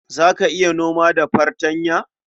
Za ka iya noma da fartanya?